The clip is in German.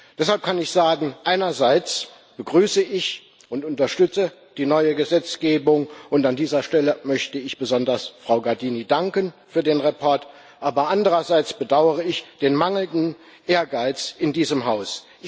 Deshalb kann ich sagen Einerseits begrüße und unterstütze ich die neue Gesetzgebung, und an dieser Stelle möchte ich besonders Frau Gardini für den Bericht danken, aber andererseits bedauere ich den mangelnden Ehrgeiz in diesem Haus.